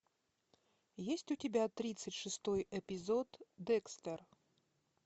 есть у тебя тридцать шестой эпизод декстер